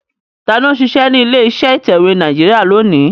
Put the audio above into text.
Tani ó ń ṣiṣẹ́ ní ilé iṣẹ́ ìtẹ̀wé Nàìjíríà lónìí?